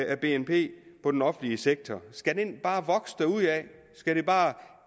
af bnp på den offentlige sektor skal den bare vokse derudad skal der bare